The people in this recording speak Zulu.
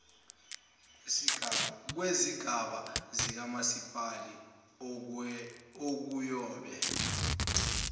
kwezigaba zikamasipalati okuyobe